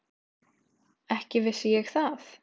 Ekki vissi ég það.